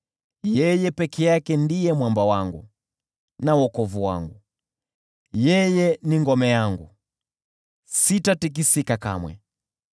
Yeye peke yake ndiye mwamba wangu na wokovu wangu; yeye ni ngome yangu, sitatikisika kamwe.